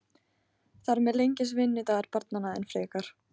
Þar með lengist vinnudagur barnanna enn frekar.